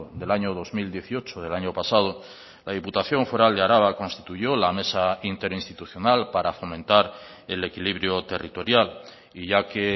del año dos mil dieciocho del año pasado la diputación foral de araba constituyó la mesa interinstitucional para fomentar el equilibrio territorial y ya que